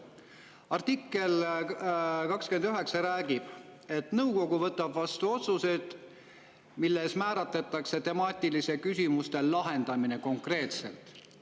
Artikkel 29 räägib, et nõukogu võtab vastu otsused, milles määratletakse temaatiliste küsimuste lahendamine, konkreetselt.